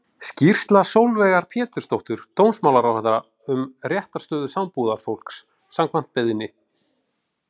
Skýrsla Sólveigar Pétursdóttur dómsmálaráðherra um réttarstöðu sambúðarfólks, samkvæmt beiðni.